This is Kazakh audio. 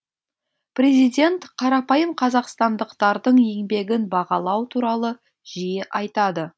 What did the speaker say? президент қарапайым қазақстандықтардың еңбегін бағалау туралы жиі айтады